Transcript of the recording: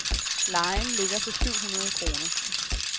Lejen ligger på syv hundrede kroner.